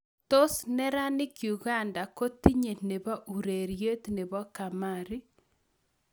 Tos neranik uganda kotinye nepo ureriet nepo kamari